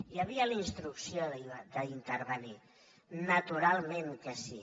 hi havia la instrucció d’intervenir naturalment que sí